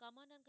mission